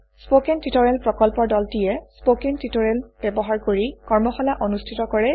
spoken tutorial প্ৰকল্পৰ দলটিয়ে spoken tutorial ব্যৱহাৰ কৰি কৰ্মশালা অনুষ্ঠিত কৰে